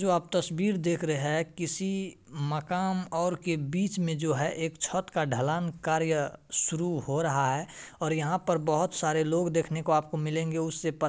जो आप तस्वीर देख रहे है किसी मकान और के बीच में जो है एक छत का ढलान कार्य शुरू हो रहा है और यहां पर बहुत सारे लोग देखने को आपको मिलेंगे उससे पत --